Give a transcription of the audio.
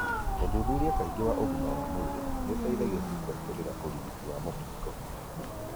ũthuthuria kaingĩ wa ũgima wa mwĩrĩ nĩũteithagia gũbuatĩrĩra urigiti wa mũkingo.